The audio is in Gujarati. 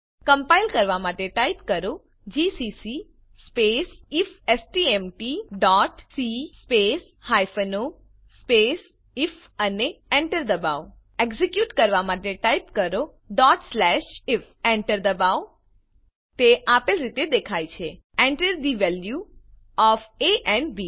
કમ્પાઈલ કરવા માટે ટાઈપ કરો GCC space IFSTMT dot C space o space IF અને એન્ટર દબાવો એક્ઝેક્યુટ કરવા માટે ટાઈપ કરો if એન્ટર દબાવો તે આપેલ રીતે દેખાય છે Enter the value of a and B